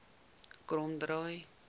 kromdraai